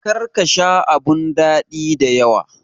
Kar ka Sha abun dadi da yawa.